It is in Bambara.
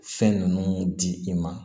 Fɛn ninnu di i ma